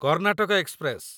Karnataka express